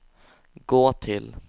gå till